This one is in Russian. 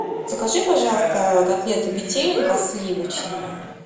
закажи пожалуйста котлеты петелинка сливочные